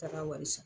Taara wari san